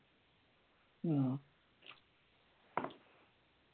ആഹ്